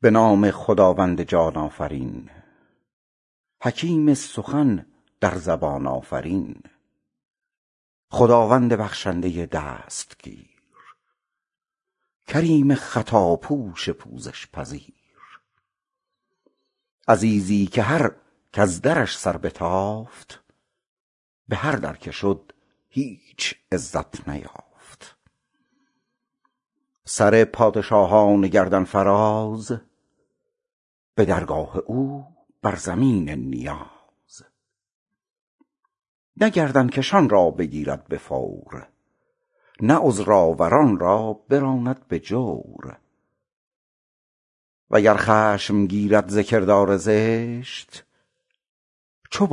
به نام خداوند جان آفرین حکیم سخن در زبان آفرین خداوند بخشنده دستگیر کریم خطابخش پوزش پذیر عزیزی که هر کز درش سر بتافت به هر در که شد هیچ عزت نیافت سر پادشاهان گردن فراز به درگاه او بر زمین نیاز نه گردن کشان را بگیرد به فور نه عذرآوران را براند به جور وگر خشم گیرد ز کردار زشت چو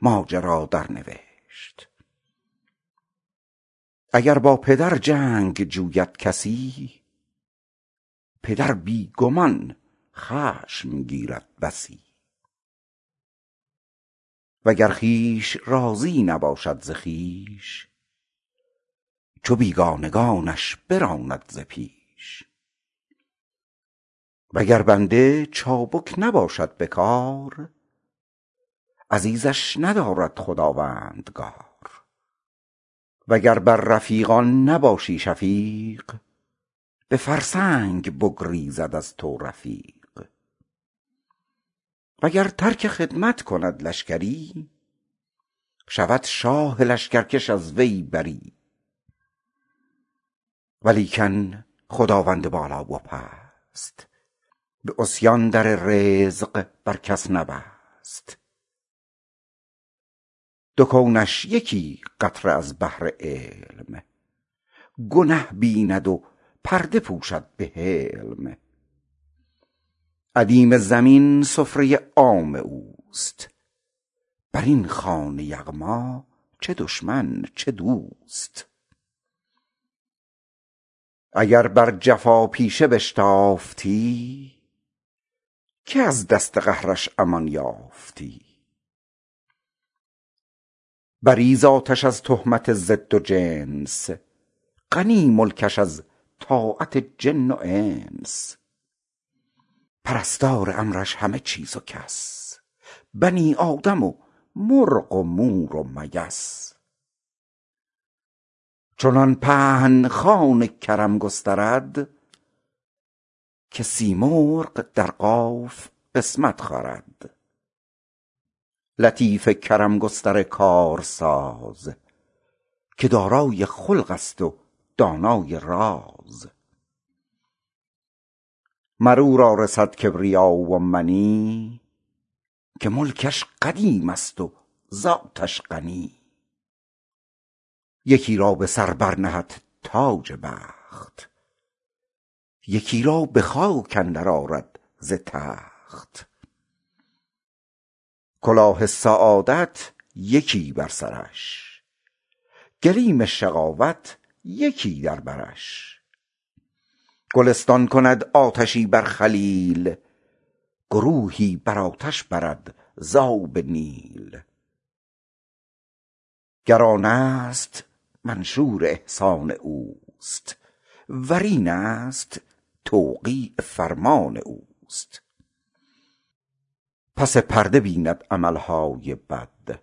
بازآمدی ماجرا درنوشت اگر با پدر جنگ جوید کسی پدر بی گمان خشم گیرد بسی وگر خویش راضی نباشد ز خویش چو بیگانگانش براند ز پیش وگر بنده چابک نباشد به کار عزیزش ندارد خداوندگار وگر بر رفیقان نباشی شفیق به فرسنگ بگریزد از تو رفیق وگر ترک خدمت کند لشکری شود شاه لشکرکش از وی بری ولیکن خداوند بالا و پست به عصیان در رزق بر کس نبست دو کونش یکی قطره از بحر علم گنه بیند و پرده پوشد به حلم ادیم زمین سفره عام اوست بر این خوان یغما چه دشمن چه دوست اگر بر جفاپیشه بشتافتی که از دست قهرش امان یافتی بری ذاتش از تهمت ضد و جنس غنی ملکش از طاعت جن و انس پرستار امرش همه چیز و کس بنی آدم و مرغ و مور و مگس چنان پهن خوان کرم گسترد که سیمرغ در قاف قسمت خورد لطیف کرم گستر کارساز که دارای خلق است و دانای راز مر او را رسد کبریا و منی که ملکش قدیم است و ذاتش غنی یکی را به سر بر نهد تاج بخت یکی را به خاک اندر آرد ز تخت کلاه سعادت یکی بر سرش گلیم شقاوت یکی در برش گلستان کند آتشی بر خلیل گروهی به آتش برد ز آب نیل گر آن است منشور احسان اوست ور این است توقیع فرمان اوست پس پرده بیند عمل های بد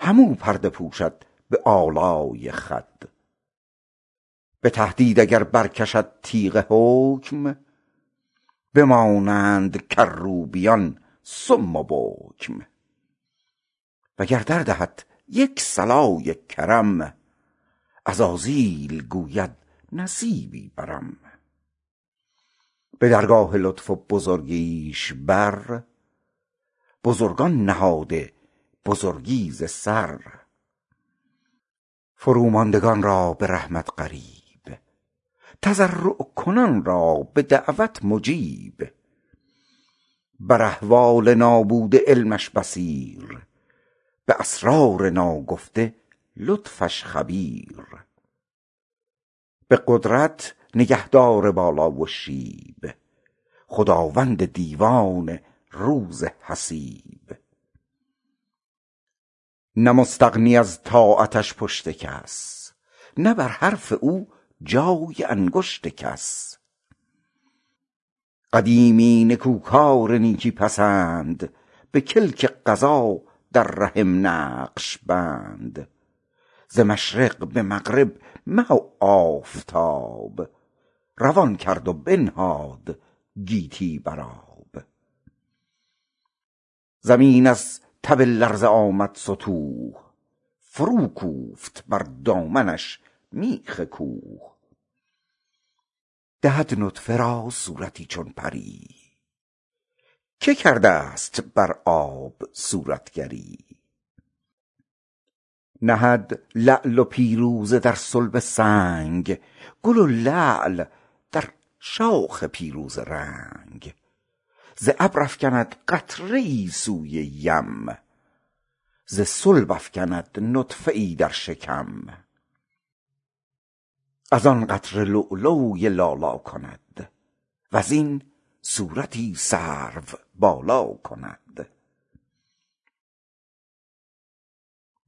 هم او پرده پوشد به آلای خود به تهدید اگر برکشد تیغ حکم بمانند کروبیان صم و بکم وگر دردهد یک صلای کرم عزازیل گوید نصیبی برم به درگاه لطف و بزرگیش بر بزرگان نهاده بزرگی ز سر فروماندگان را به رحمت قریب تضرع کنان را به دعوت مجیب بر احوال نابوده علمش بصیر به اسرار ناگفته لطفش خبیر به قدرت نگهدار بالا و شیب خداوند دیوان روز حسیب نه مستغنی از طاعتش پشت کس نه بر حرف او جای انگشت کس قدیمی نکوکار نیکی پسند به کلک قضا در رحم نقش بند ز مشرق به مغرب مه و آفتاب روان کرد و بنهاد گیتی بر آب زمین از تب لرزه آمد ستوه فروکوفت بر دامنش میخ کوه دهد نطفه را صورتی چون پری که کرده ست بر آب صورتگری نهد لعل و پیروزه در صلب سنگ گل لعل در شاخ پیروزه رنگ ز ابر افکند قطره ای سوی یم ز صلب افکند نطفه ای در شکم از آن قطره لولوی لالا کند وز این صورتی سروبالا کند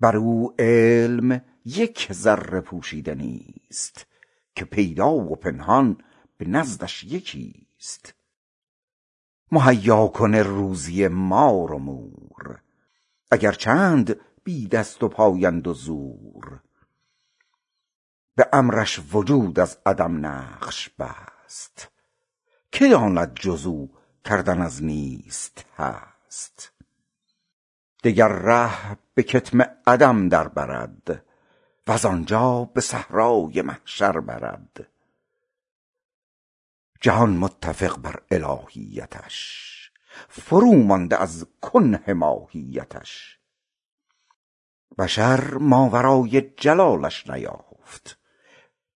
بر او علم یک ذره پوشیده نیست که پیدا و پنهان به نزدش یکی ست مهیاکن روزی مار و مور اگر چند بی دست وپای اند و زور به امرش وجود از عدم نقش بست که داند جز او کردن از نیست هست دگر ره به کتم عدم در برد وز آنجا به صحرای محشر برد جهان متفق بر الهیتش فرومانده از کنه ماهیتش بشر ماورای جلالش نیافت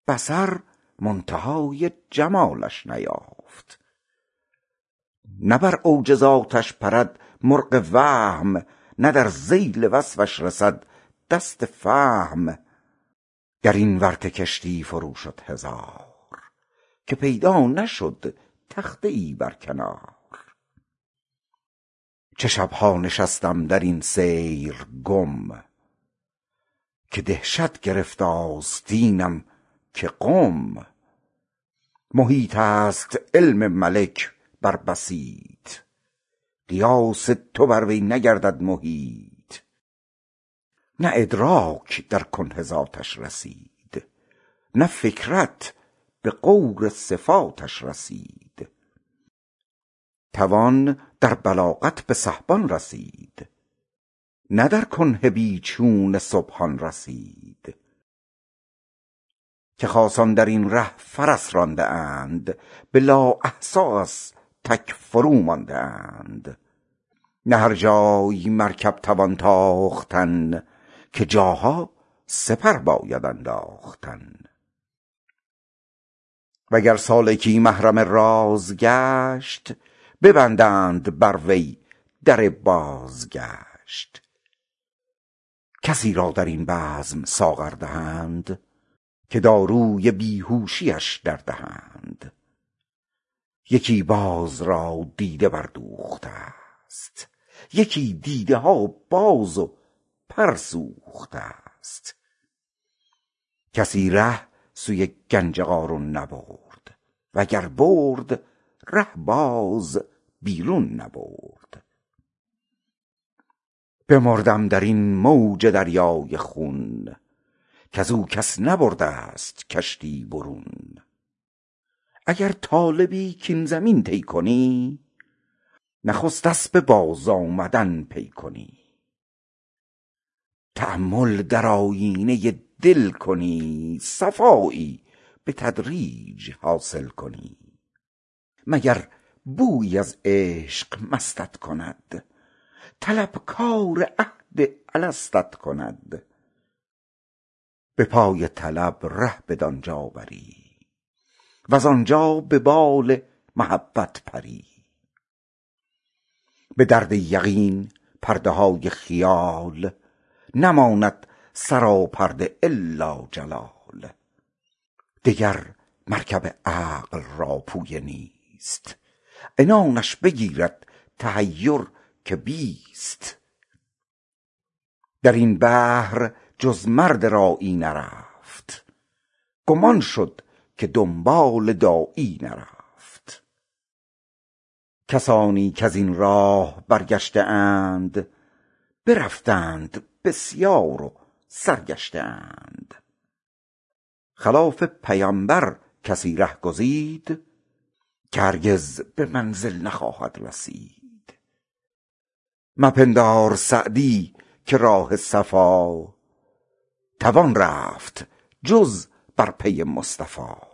بصر منتهای جمالش نیافت نه بر اوج ذاتش پرد مرغ وهم نه در ذیل وصفش رسد دست فهم در این ورطه کشتی فرو شد هزار که پیدا نشد تخته ای بر کنار چه شب ها نشستم در این سیر گم که دهشت گرفت آستینم که قم محیط است علم ملک بر بسیط قیاس تو بر وی نگردد محیط نه ادراک در کنه ذاتش رسید نه فکرت به غور صفاتش رسید توان در بلاغت به سحبان رسید نه در کنه بی چون سبحان رسید که خاصان در این ره فرس رانده اند به لااحصیٖ از تک فرومانده اند نه هر جای مرکب توان تاختن که جاها سپر باید انداختن وگر سالکی محرم راز گشت ببندند بر وی در بازگشت کسی را در این بزم ساغر دهند که داروی بیهوشی اش دردهند یکی باز را دیده بردوخته ست یکی دیده ها باز و پر سوخته ست کسی ره سوی گنج قارون نبرد وگر برد ره باز بیرون نبرد بمردم در این موج دریای خون کز او کس نبرده ست کشتی برون اگر طالبی کاین زمین طی کنی نخست اسب بازآمدن پی کنی تأمل در آیینه دل کنی صفایی به تدریج حاصل کنی مگر بویی از عشق مستت کند طلبکار عهد الستت کند به پای طلب ره بدان جا بری وز آنجا به بال محبت پری بدرد یقین پرده های خیال نماند سراپرده إلا جلال دگر مرکب عقل را پویه نیست عنانش بگیرد تحیر که بیست در این بحر جز مرد راعی نرفت گم آن شد که دنبال داعی نرفت کسانی کز این راه برگشته اند برفتند بسیار و سرگشته اند خلاف پیمبر کسی ره گزید که هرگز به منزل نخواهد رسید مپندار سعدی که راه صفا توان رفت جز بر پی مصطفی